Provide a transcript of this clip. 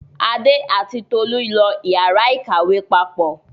Adé àti Tolú lọ ìyàrá-ìkàwé papọ̀.